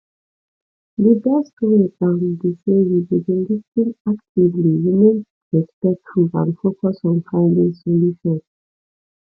di best way um be say you go dey lis ten actively remain respectful and focus on finding solution